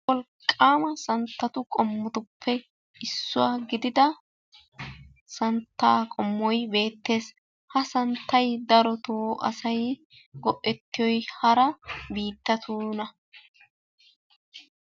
Wolqqama santtatu qommotuppe issuwaa gidida santtaay beettees. ha santtay darotto asay go'etiyoy hara biittatuna.